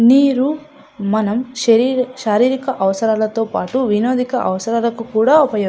నీరు మన శారీరక అవసరాలతో పాటు వినోదిక అవసరాల కు కూడా ఉపయోగిస్ --